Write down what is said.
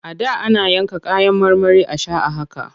A da ana yanka kayan marmari a sha a haka.